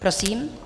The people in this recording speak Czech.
Prosím.